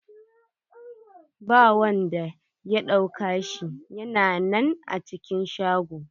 Ba wanda ya dauka shi, ya na nan a cikin shago.